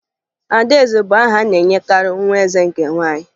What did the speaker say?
Adaeze bụ aha a na-enyekarị nwa eze nke nwaanyị